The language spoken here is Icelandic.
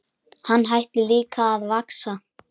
Hann hætti líka að vaxa.